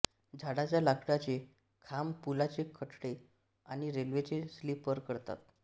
झाडाच्या लाकडाचे खांब पुलाचे कठडे आणि रेल्वेचे स्लीपर करतात